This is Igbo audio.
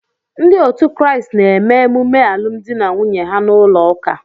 Ndị otu Kraịst na-eme emume alụmdi na nwunye ha n'ụlọ ụka.